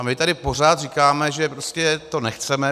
A my tady pořád říkáme, že prostě to nechceme.